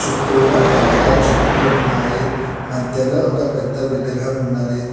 చుట్టూరా టెంకాయ చెట్లు ఉన్నాయి మధ్యలో ఒక పెద్ద విగ్రహం ఉన్నది.